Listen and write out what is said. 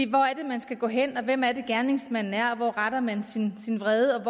hvor er det man skal gå hen hvem er det gerningsmanden er hvor retter man sin vrede